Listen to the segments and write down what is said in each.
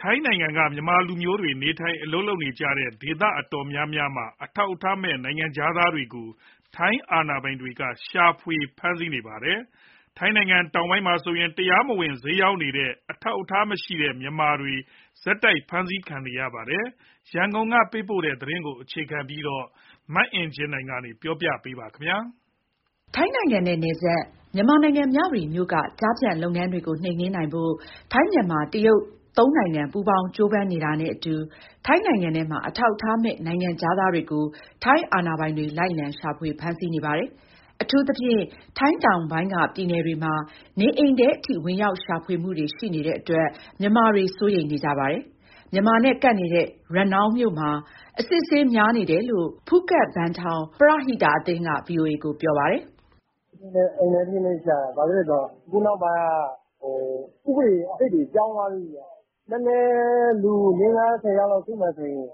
ထိုင်းနိုင်ငံက မြန်မာလူမျိုးတွေ နေထိုင်အလုပ်လုပ်နေကြတဲ့ ဒေသတော်တော်များများမှာ အထောက်အထားမဲ့ နိုင်ငံခြားသားတွေကို ထိုင်းအာဏာပိုင်တွေ လိုက်လံရှာဖွေ ဖမ်းဆီးနေပါတယ်။ ထိုင်းတောင်ပိုင်းမှာဆိုရင် တရားမဝင်ဈေးရောင်းနေကြတဲ့ အထောက်အထားမရှိတဲ့ မြန်မာတွေ ဆက်တိုက်ဖမ်းဆီးခံနေရပါတယ်။ ရန်ကုန်ကပေးပို့တဲ့သတင်းကို အခြေခံပြီး တင်ပြထားပါတယ်။ ထိုင်းနိုင်ငံနဲ့ နယ်စပ် မြန်မာနိုင်ငံ မြဝတီမြို့က ကျားဖြန့်လုပ်ငန်းတွေကိုနှိမ်နင်းနိုင်ဖို့ ထိုင်း၊ မြန်မာ၊ တရုတ် သုံးနိုင်ငံပေါင်း ကြိုးပမ်းနေတာနဲ့အတူ ထိုင်းနိုင်ငံထဲမှာ အထောက်အထားမဲ့ နိုင်ငံခြားသား တွေကို ထိုင်းအာဏာပိုင်တွေ လိုက်လံရှာဖွေ ဖမ်းဆီးနေပါတယ်။ အထူးသဖြင့် ထိုင်းတောင်ပိုင်းက ပြည်နယ်တွေမှာ နေအိမ်ထဲအထိ ဝင်ရောက် ရှာဖွေမှုတွေရှိနေတဲ့အတွက် မြန်မာတွေ စိုးရိမ်နေကြပါတယ်။ မြန်မာနဲ့ကပ်နေတဲ့ ရနောင်းမြို့မှာ အစစ်အဆေးများနေတယ်လို့ ဖူးခက်ဘန်ထောင် ပရဟိတအသင်းက ဗွီအိုအေကို ပြောပြပါတယ်။ "အိမ်ထဲထိရှာတာ။ ဘာလို့ဆို အခုနောက်ပိုင်းက ဥပဒေသစ်တွေ ပြောင်းသွားပြီဗျ။ နည်းနည်း လူ ၄-၅-၁၀ ယောက်စုမယ်ဆိုရင်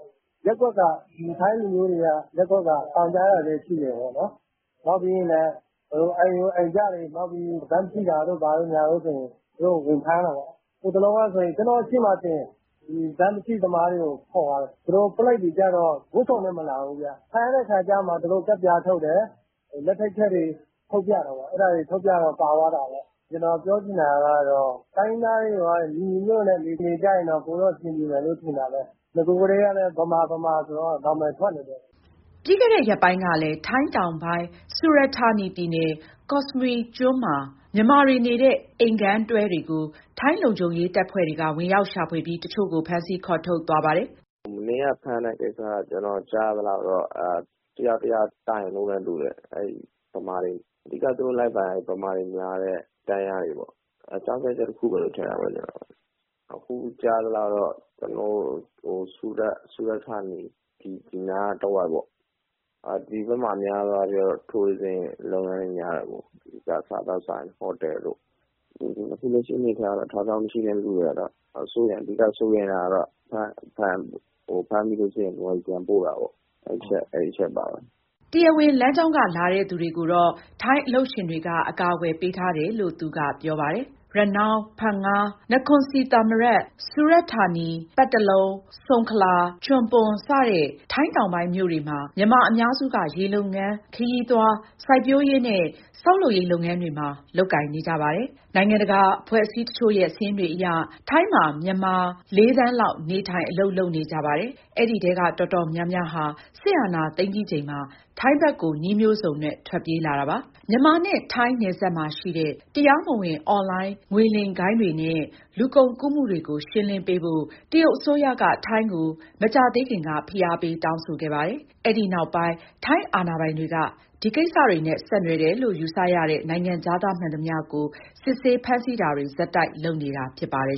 ရပ်ကွက်က ထိုင်းလူမျိုးတွေက တိုင်ကြားတာလည်း ရှိတယ်ပေါ့။ နောက်ပြီး အိမ်ကြို အိမ်ကြားတွေ၊ နောက်ပြီး (အထောက်အထား) ဘတ်မရှိတာတို့ ဘာတို့ဆို သူတို့ ဝင်ဖမ်းတာ ပေါ့။ ဟိုတလောက ကျနော့်ရှေ့မှာတင် ဘတ်မရှိသမားတွေကို ခေါ်သွားတယ်။ သူတို့ ပုလိပ်တွေကျ ဝတ်စုံနဲ့မလာဘူး။ ဖမ်းတဲ့အခါမှ သူတို့ ကတ်ပြားထုတ်တယ်၊ လက်ထိပ်ခတ်တွေ ထုတ်ပြတာပေါ့။ အဲဒါ ထုတ်ပြတော့ ပါသွားတာပေါ့။ ကျနော်ပြောချင်တာက တိုင်းရင်းသားတွေ ညီညီညွတ်ညွတ်နဲ့ နေကြရင် ပိုပြီး အဆင်ပြေမယ်လို့ ထင်တာပဲ။ နဂိုကတည်းက ဗမာ၊ ဗမာဆိုပြီး နာမည်ထွက်နေတယ်။" ပြီးခဲ့တဲ့ရက်ပိုင်းကလည်း ထိုင်းတောင်ပိုင်း ဆူရတ်ဌာနီပြည်နယ်၊ ကော့စမွီကျွန်းမှာ မြန်မာတွေနေတဲ့ အိမ်ခန်းတွဲတွေကို ထိုင်းလုံခြုံရေး တပ်ဖွဲ့တွေက ဝင်ရောက်ရှာဖွေပြီး တချို့ကို ဖမ်းဆီးခေါ်ထုတ်သွားပါတယ်။ "မနေ့ကဖမ်းတဲ့ကိစ္စက ကျနော်ကြားရသလောက်တော့ တယောက်ယောက်တိုင်လို့နဲ့တူတယ်။ အဓိက သူတို့လိုက်ဖမ်းရင် ဗမာတွေများတဲ့ တန်းလျားတွေပေါ့။ အကြောင်းပြချက် တခုလို့ပဲ ထင်တာပဲ။ အခုကြားရသလောက် ဆူရတ်ဌာနီ ဒီနားတဝိုက်ပေါ့။ ဒီဘက်မှာ အများစုက ခရီးသွားလုပ်ငန်းတွေ များတယ်ပေါ့။ စားသောက်ဆိုင်၊ ဟိုတယ်တို့။ အခုလက်ရှိအနေအထားရတော့ အထောက်အထား မရှိတဲ့သူတွေကတော့ အဓိက စိုးရိမ်ရတာကတော့ ဖမ်းမိလို့ရှိရင် မြန်မာပြည် ပြန်ပို့တာပေါ့။" တရားဝင်လမ်းကြောင်းက လာတဲ့သူတွေကိုတော့ ထိုင်းအလုပ်ရှင်တွေက အကာအကွယ်ပေးထား တယ်လို့ သူကပြောပါတယ်။ ရနောင်း၊ ဖန်င၊ နခွန်ဆီသာမရတ်၊ ဆူရတ်ဌာနီ (ကော့စမွီကျွန်း)၊ ပတ်တလုံ၊ စုံခလာ၊ ချွန်ပွန် စတဲ့ ထိုင်းတောင်ပိုင်းမြို့တွေမှာ မြန်မာအများစုက ရေလုပ်ငန်း၊ ခရီးသွား၊ စိုက်ပျိုးရေးနဲ့ ဆောက်လုပ်ရေး လုပ်ငန်းတွေကို လုပ်ကြပါတယ်။ နိုင်ငံတကာ အဖွဲ့အစည်းတချို့ရဲ့ စာရင်းတွေအရ ထိုင်းမှာ မြန်မာ ၄ သန်းလောက် နေထိုင်၊ အလုပ်လုပ်နေကြပါတယ်။ အဲဒီထဲက တော်တော်များများဟာ စစ်အာဏာသိမ်းပြီး ချိန်မှာ ထိုင်းဘက်ကို နည်းမျိုးစုံနဲ့ ထွက်ပြေးလာတာပါ။ မြန်မာနဲ့ ထိုင်းနယ်စပ်မှာရှိတဲ့ တရားမဝင်အွန်လိုင်း ငွေလိမ်ဂိုဏ်းတွေနဲ့ လူကုန်ကူးမှုတွေကို ရှင်းလင်း ပေးဖို့ တရုတ်အစိုးရက ထိုင်းကို မကြာသေးခင်က ဖိအားပေး တောင်းဆိုခဲ့ပါတယ်။ အဲဒီနောက်ပိုင်း ထိုင်းအာဏာပိုင်တွေက ဒီကိစ္စတွေနဲ့ ဆက်နွယ်တယ်လို့ ယူဆရတဲ့ နိုင်ငံခြားသားမှန်သမျှကို စစ်ဆေး ဖမ်းဆီးတာတွေ ဆက်တိုက်လုပ်နေတာ ဖြစ်ပါတယ်